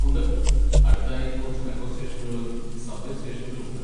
ഉണ്ട്, അടുത്തായി കുറച്ച് മെട്രോ സ്റ്റേഷനുകളും സബ്‌വേ സ്റ്റേഷനുകളും ഉണ്ട്.